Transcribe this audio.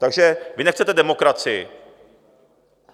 Takže vy nechcete demokracii.